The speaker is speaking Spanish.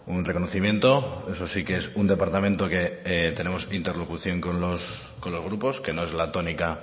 un reconocimiento eso sí que es un departamento que tenemos interlocución con los grupos que no es la tónica